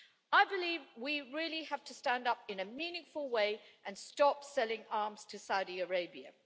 I believe we really have to stand up in a meaningful way and stop selling arms to Saudi Arabia.